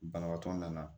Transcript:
Banabaatɔ nana